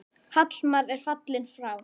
Hallmar er fallinn frá.